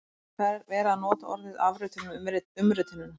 En þá er verið að nota orðið afritun um umritunina!